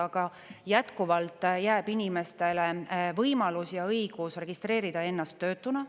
Aga jätkuvalt jääb inimestele võimalus ja õigus registreerida ennast töötuna.